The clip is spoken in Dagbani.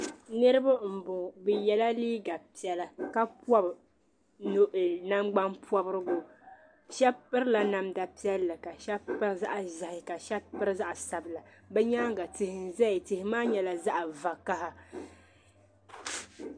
Niriba n bɔŋɔ bɛ yɛla liiga piɛlla ka pɔbi nangban pɔbirigu shɛba pirila namda piɛlli ka shɛba piri zaɣi ʒee ka shɛba piri zaɣi sabila bɛ nyaaŋa tihi n zaya tihi maa nyɛla zaɣi vokaha.